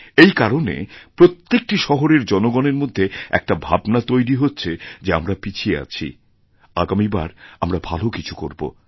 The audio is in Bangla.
এই কারণে প্রত্যেকটি শহরের জনগণের মধ্যেএকটা ভাবনা তৈরি হচ্ছে যে আমরা পিছিয়ে আছি আগামীবার আমরা ভালো কিছু করব